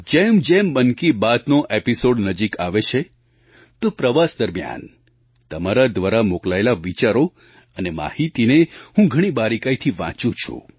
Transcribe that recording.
જેમજેમ મન કી બાતનો એપિસૉડ નજીક આવે છે તો પ્રવાસ દરમિયાન તમારા દ્વારા મોકલાયેલા વિચારો અને માહિતીને હું ઘણી બારીકાઈથી વાંચું છું